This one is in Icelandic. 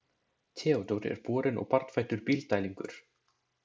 Theodór er borinn og barnfæddur Bílddælingur.